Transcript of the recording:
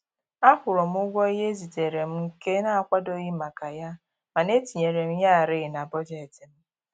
Akwụrụ m ụgwọ ihe e ziteere m nke na-akwadoghị maka ya, mana e tinyere m yarị na bọjetị m